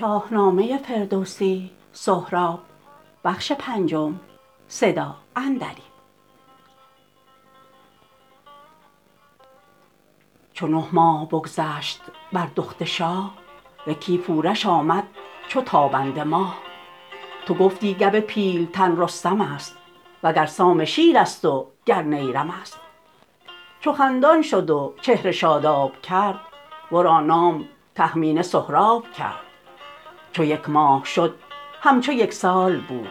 چو نه ماه بگذشت بر دخت شاه یکی پورش آمد چو تابنده ماه تو گفتی گو پیلتن رستم ا ست وگر سام شیرست و گر نیرم است چو خندان شد و چهره شاداب کرد ورا نام تهمینه سهراب کرد چو یک ماه شد همچو یک سال بود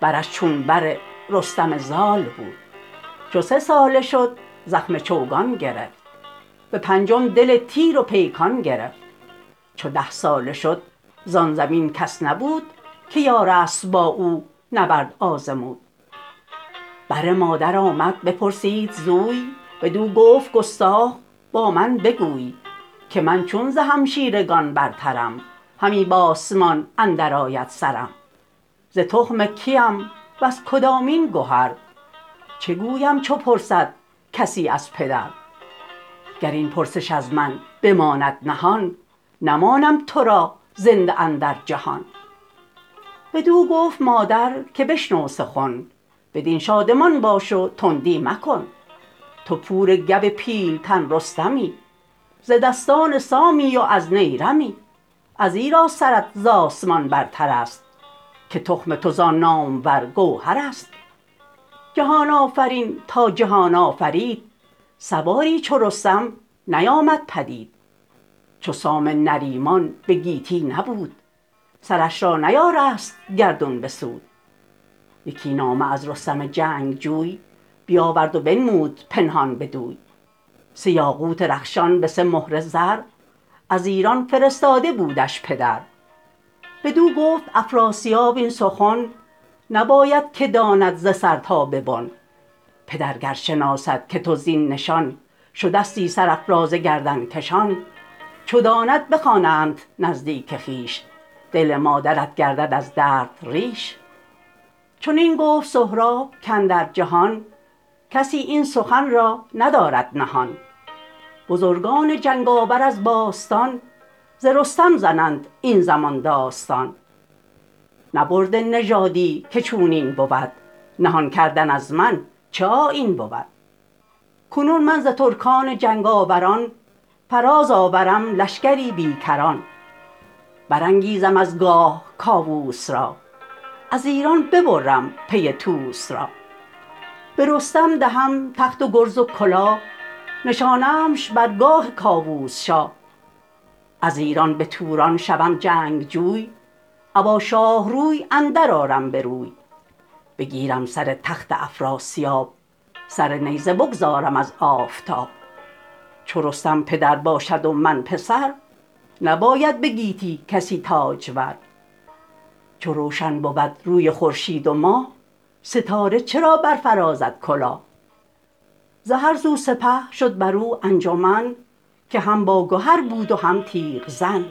برش چون بر رستم زال بود چو سه ساله شد زخم چوگان گرفت به پنجم دل تیر و پیکان گرفت چو ده ساله شد زان زمین کس نبود که یارست با او نبرد آزمود بر مادر آمد بپرسید زوی بدو گفت گستاخ بامن بگوی که من چون ز همشیرگان برترم همی بآسمان اندر آید سرم ز تخم کیم وز کدامین گهر چه گویم چو پرسد کسی از پدر گر این پرسش از من بماند نهان نمانم ترا زنده اندر جهان بدو گفت مادر که بشنو سخن بدین شادمان باش و تندی مکن تو پور گو پیلتن رستمی ز دستان سامی و از نیرمی ازیرا سرت ز آسمان برترست که تخم تو زان نامور گوهرست جهان آفرین تا جهان آفرید سواری چو رستم نیامد پدید چو سام نریمان به گیتی نبود سرش را نیارست گردون بسود یکی نامه از رستم جنگ جوی بیاورد و بنمود پنهان بدوی سه یاقوت رخشان به سه مهره زر از ایران فرستاده بودش پدر بدو گفت افراسیاب این سخن نبایدکه داند ز سر تا به بن پدر گر شناسد که تو زین نشان شدستی سرافراز گردنگشان چو داند بخواندت نزدیک خویش دل مادرت گردد از درد ریش چنین گفت سهراب کاندر جهان کسی این سخن را ندارد نهان بزرگان جنگ آور از باستان ز رستم زنند این زمان داستان نبرده نژادی که چونین بود نهان کردن از من چه آیین بود کنون من ز ترکان جنگ آوران فراز آورم لشکری بی کران برانگیزم از گاه کاووس را از ایران ببرم پی طوس را به رستم دهم تخت و گرز و کلاه نشانمش بر گاه کاووس شاه از ایران به توران شوم جنگ جوی ابا شاه روی اندر آرم بروی بگیرم سر تخت افراسیاب سر نیزه بگذارم از آفتاب چو رستم پدر باشد و من پسر نباید به گیتی کسی تاجور چو روشن بود روی خورشید و ماه ستاره چرا برفرازد کلاه ز هر سو سپه شد براو انجمن که هم باگهر بود هم تیغ زن